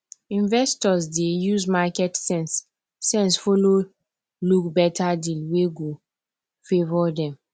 investors dey use market sense sense follow look better deal wey go favour dem